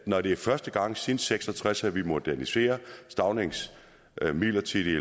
når det er første gang siden nitten seks og tres at vi moderniserer staunings midlertidige